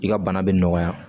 I ka bana bɛ nɔgɔya